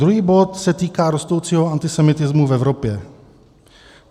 Druhý bod se týká rostoucího antisemitismu v Evropě.